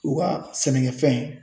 U ka sɛnɛkɛfɛn